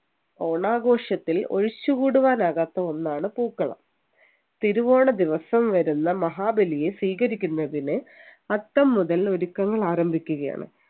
ഓണാഘോഷത്തിൽ ഒഴിച്ചുകൂടുവാൻ ആകാത്ത ഒന്നാണ് പൂക്കളം തിരുവോണ ദിവസം വരുന്ന മഹാബലിയെ സ്വീകരിക്കുന്നതിന് അത്തം മുതൽ ഒരുക്കങ്ങൾ ആരംഭിക്കുകയാണ്